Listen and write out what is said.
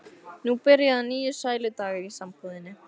Nú byrja að nýju sæludagar í sambúðinni.